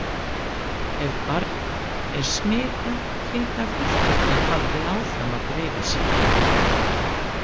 Ef barn er smitað geta vörturnar haldið áfram að dreifa sér.